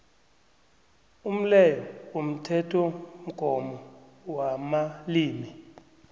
umleyo womthethomgomo wamalimi